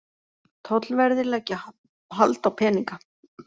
Tollverðir leggja hald á peninga